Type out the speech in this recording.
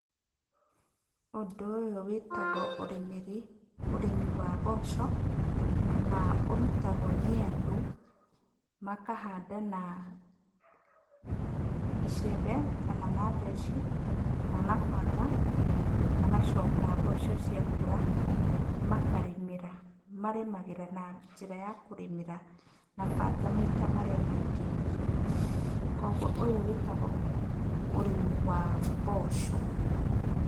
Ũndũ ũyũ wĩtagwo ũrĩmĩri ũrĩmi wa mboco, na ũrutagwo nĩ andũ, makahanda na icembe, kana na theci, kana na banga, magacoka mboco cia kũra, makarĩmĩra, marĩmagĩra na njĩra ya kũrĩmĩra na banga maita marĩa maingĩ, koguo ũyũ wĩtagwo ũrĩmi wa mboco.